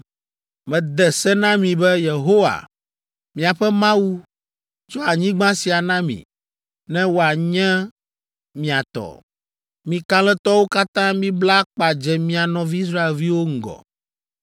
Mede se na mi be, “Yehowa, miaƒe Mawu, tsɔ anyigba sia na mi, ne woanye mia tɔ. Mi kalẽtɔwo katã mibla akpa dze mia nɔvi Israelviwo ŋgɔ.